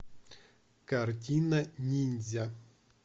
картина ниндзя